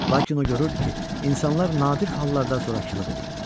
Lakin o görürdü ki, insanlar nadir hallarda zorakılıq eləyirlər.